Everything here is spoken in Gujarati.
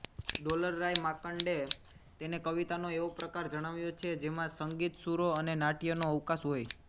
ડોલરરાય માંકડે તેને કવિતાનો એવો પ્રકાર જણાવ્યો છે જેમાં સંગીતસુરો અને નાટ્યનો અવકાશ હોય